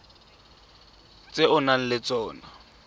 tse o nang le tsona